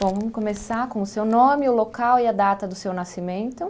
Vamos começar com o seu nome, o local e a data do seu nascimento.